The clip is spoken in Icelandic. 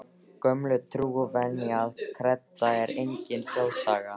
Gömul trú, venja eða kredda er engin þjóðsaga.